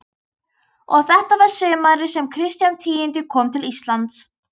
Og þetta var sumarið sem Kristján tíundi kom til Íslands.